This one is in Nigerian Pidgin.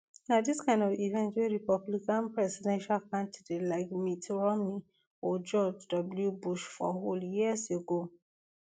na dis kind of events wey republican presidential candidate like mitt romney or george w bush for hold years ago